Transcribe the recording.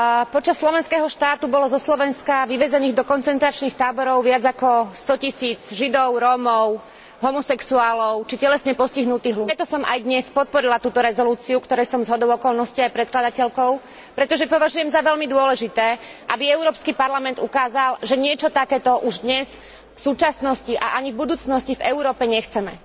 Počas Slovenského štátu bolo zo Slovenska vyvezených do koncentračných táborov viac ako stotisíc Židov, Rómov, homosexuálov či telesne postihnutých ľudí. Práve preto som aj dnes podporila túto rezolúciu, ktorej som zhodou okolností aj predkladateľkou, pretože považujem za veľmi dôležité, aby Európsky parlament ukázal, že niečo takéto už dnes, v súčasnosti a ani v budúcnosti v Európe nechceme.